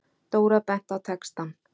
Dóra benti á textann.